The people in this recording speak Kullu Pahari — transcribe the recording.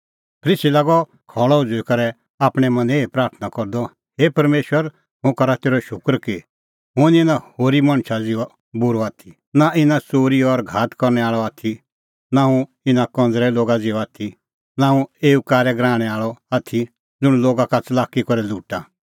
फरीसी लागअ खल़अ उझ़ुई करै आपणैं मनें एही प्राथणां करदअ हे परमेशर हुंह करा तेरअ शूकर कि हुंह निं इना होरी मणछा ज़िहअ बूरअ आथी नां इना च़ोरी और घात करनै आल़अ आथी नां हुंह इना कंज़रै लोगा ज़िहअ आथी नां हुंह एऊ कारै गराहणै आल़अ आथी ज़ुंण लोगा का च़लाकी करै लुटा